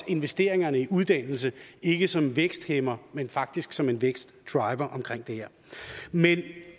investeringerne i uddannelse ikke som en væksthæmmer men faktisk som en vækstdriver omkring det her men det